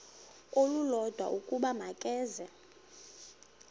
olulodwa ukuba makeze